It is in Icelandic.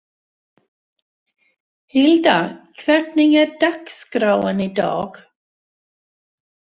Hilda, hvernig er dagskráin í dag?